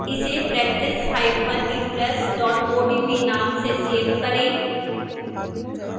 इसे practiceimpress odp name से save करें